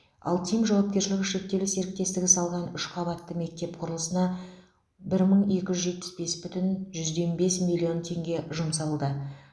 алтим жауапкершілігі шектеулі серіктестігі салған үш қабатты мектеп құрылысына бір мың екі жүз жетпіс бес бүтін жүзден бес миллион теңге жұмсалды